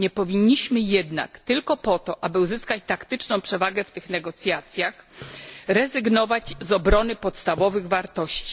Nie powinniśmy jednak tylko po to, aby uzyskać taktyczną przewagę w tych negocjacjach rezygnować z obrony podstawowych wartości.